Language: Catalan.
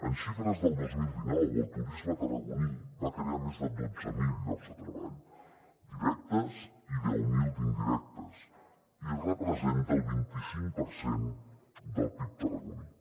en xifres del dos mil dinou el turisme tarragoní va crear més de dotze mil llocs de treball directes i deu mil d’indirectes i representa el vint i cinc per cent del pib tarragoní